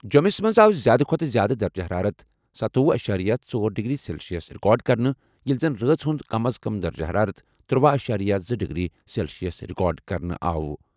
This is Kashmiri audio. جوٚمِس منٛز آو زِیٛادٕ کھۄتہٕ زِیٛادٕ درجہٕ حرارت ستوۄہُ اَشیریہ ژۄر ڈگری سیلشیس رِکارڈ کرنہٕ ییٚلہِ زن رٲژ ہُنٛد کم از کم درجہٕ حرارت ترٗۄہَ اشیریہ زٕ ڈگری سیلشیس رِکارڈ کرنہٕ آو۔